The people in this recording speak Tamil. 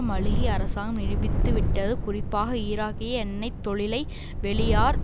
மாலிகி அரசாங்கம் நிரூபித்து விட்டது குறிப்பாக ஈராக்கிய எண்ணெய் தொழிலை வெளியார்